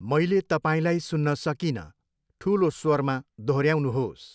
मैले तपाईँलाई सुन्न सकिनँ, ठुलो स्वरमा दोहोऱ्याउनुहोस्।